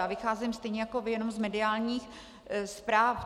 Já vycházím stejně jako vy jenom z mediálních zpráv.